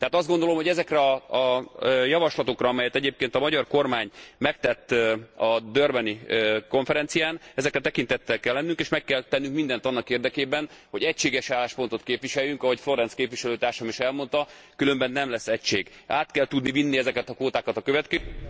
Tehát azt gondolom, hogy ezekre a javaslatokra, amelyet egyébként a magyar kormány megtett a durbani konferencián, ezekre tekintettel kell lennünk, és meg kell tennünk mindent annak érdekében, hogy egységes álláspontot képviseljünk, ahogy Florenz képviselőtársam is elmondta, különben nem lesz egység Át kell tudni vinni ezeket a kvótákat a következő évre...